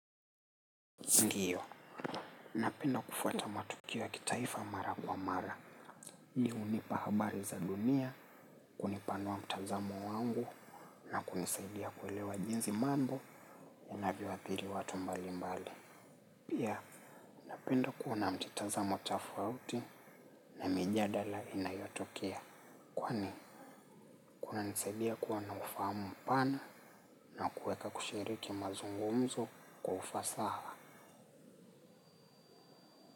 Ndiyo, napenda kufuata matukio ya kitaifa mara kwa mara, hii hunipahabari za dunia, kunipanua mtazamo wangu, na kunisaidia kuelewa jinsi mambo ya navyo athiri watu mbali mbali. Pia, napenda kuona mtazamo tafauti na mijadala inayotokea kwani kuna nisaidia kuwa na ufahamu mpana na kueka kushiriki mazungumzo kwa ufasaha.